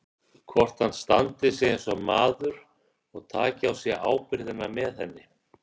Hvort hann standi sig eins og maður og taki á sig ábyrgðina með henni.